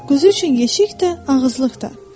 Quzu üçün yeşik də, ağızlıq da.”